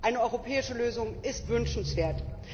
Eine europäische Lösung ist wünschenswert.